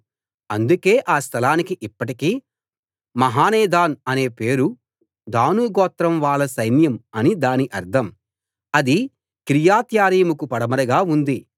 అందుకే ఆ స్థలానికి ఇప్పటికీ మహానేదాన్ అని పేరు దాను గోత్రం వాళ్ళ సైన్యం అని దాని అర్థం అది కిర్యత్యారీముకు పడమరగా ఉంది